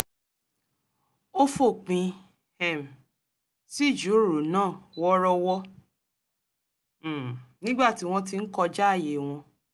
ó fòpin um sí ìjíròrò náà wọ̣́ọ́rọ́wọ́ um nígbà tí wọ́n ti ń kọjáàyè wọn